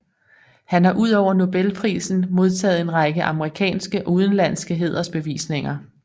Han har udover Nobelprisen modtaget en række amerikanske og udenlandske hædersbevisninger